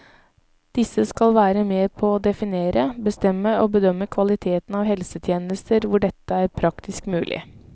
Disse skal være med på å definere, bestemme og bedømme kvaliteten av helsetjenester hvor dette er praktisk mulig.